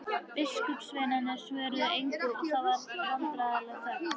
Biskupssveinarnir svöruðu engu og það varð vandræðaleg þögn.